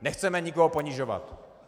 Nechceme nikoho ponižovat.